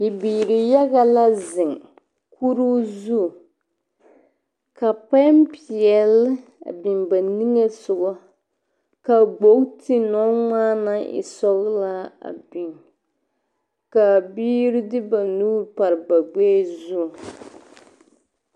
Bibiir yaga la zeŋ kuruu zu. Ka poempeɛle a biŋ ba niŋe sogɔ. Ka gbogti nɔŋmaa naŋ e sɔglaa a biŋ. Kaa biiri de ba nuur par ba gbɛɛ zuŋ.